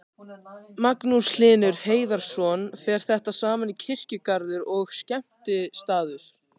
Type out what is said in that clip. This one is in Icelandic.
Magnús Hlynur Hreiðarsson: Fer þetta saman, kirkjugarður og skemmtistaður?